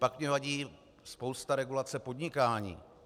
Pak mně vadí spousta regulace podnikání.